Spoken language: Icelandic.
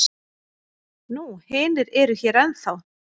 Nú hinir eru hér ennþá.